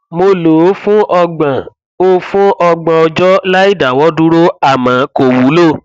mo lò ó fún ọgbọn ó fún ọgbọn ọjọ láìdáwọdúró àmọ kò wúlò